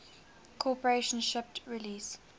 corporation shipped release